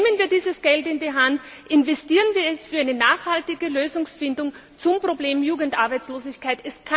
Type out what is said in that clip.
Nehmen wir dieses Geld in die Hand, investieren wir es für eine nachhaltige Lösungsfindung zum Problem Jugendarbeitslosigkeit!